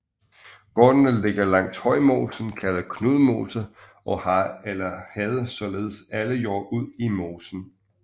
Gårdene ligger langs Højmosen kaldet Knudmose og har eller havde således alle jord ud i mosen